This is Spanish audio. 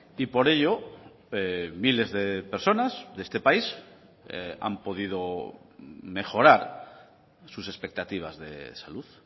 y por ello miles de personas de este país han podido mejorar sus expectativas de salud